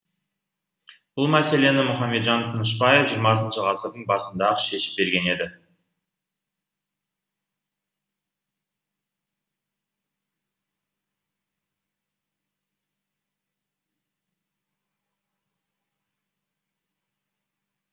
бұл мәселені мұхамеджан тынышбаев жиырмасыншы ғасырдың басында ақ шешіп берген еді